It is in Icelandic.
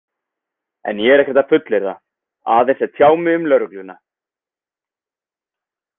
En ég er ekkert að fullyrða, aðeins að tjá mig um lögregluna.